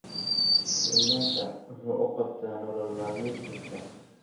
kenyatta muxuu u qabtaa nolol maalmeedkiisa